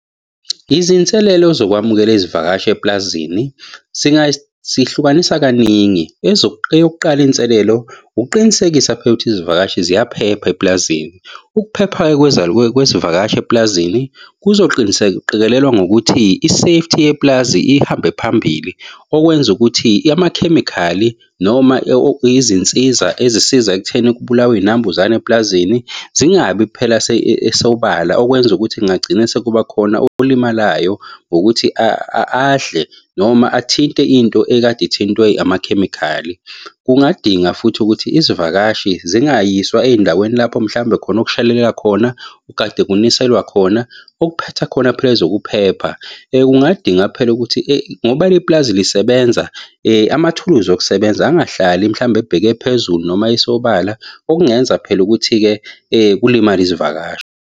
Izinselelo zokwamukela izivakashi epulazini sihlukanisa kaningi eyokuqala inselelo ukuqinisekisa phela ukuthi izivakashi ziyaphepha eplazini. Ukuphepha-ke kwezivakashi epulazini qikelelwa ukuthi ngokuthi i-safety yepulazi ihambe phambili, okwenza ukuthi amakhemikhali noma izinsiza ezisiza ekutheni kubulawe iy'nambuzane eplazini zingabi phela sobala okwenza kungagcina sekuba khona olimalayo ngokuthi adle noma athinte into ekade ithintwe amakhemikhali. Kungadinga futhi ukuthi izivakashi zingayiswa ey'ndaweni lapho mhlawumbe khona okushelelela khona ugade kuniselwa khona. Okuphetha khona phela ezokuphepha kungadinga phela ukuthi ngoba lepulazi lisebenza amathuluzi okusebenza angahlali mhlawumbe ebheke phezulu noma esobala, okungenza phela ukuthi-ke kulimale izivakashi.